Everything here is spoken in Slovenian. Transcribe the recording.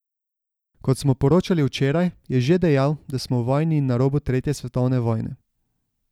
Kot smo poročali včeraj, je že dejal, da smo v vojni in na robu tretje svetovne vojne.